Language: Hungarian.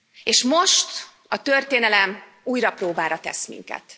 És most a történelem újra próbára tesz minket.